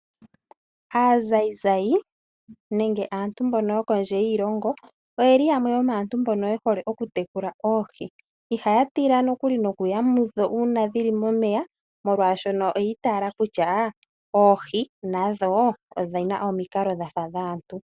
Aanzayinzayi nenge aantu mbono yokondje yiilongo oyeli yamwe yomaantu mbono yehole oku tekula oohi, ihaya tila nokuli noku ya mudho, uuna dhili momeya molwaashono oyi itaala kutya oohi nadho odhina omikalo dhafa dhaantu.